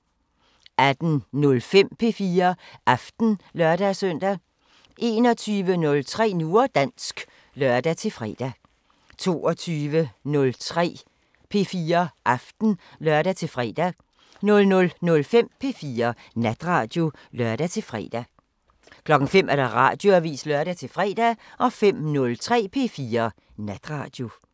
18:05: P4 Aften (lør-søn) 21:03: Nu og dansk (lør-fre) 22:03: P4 Aften (lør-fre) 00:05: P4 Natradio (lør-fre) 05:00: Radioavisen (lør-fre) 05:03: P4 Natradio